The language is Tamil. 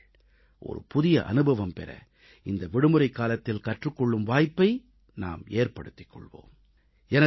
வாருங்கள் புதிய அனுபவம் பெற இந்த விடுமுறைக் காலத்தில் கற்றுக் கொள்ளும் வாய்ப்பை நாம் ஏற்படுத்திக் கொள்வோம்